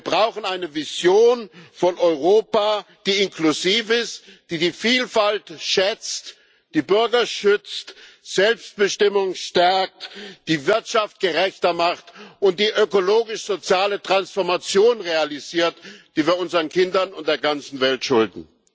Wir brauchen eine Vision von Europa, die inklusiv ist, die die Vielfalt schätzt, die Bürger schützt, Selbstbestimmung stärkt, die Wirtschaft gerechter macht und die ökologisch soziale Transformation realisiert, die wir unseren Kindern und der ganzen Welt schulden.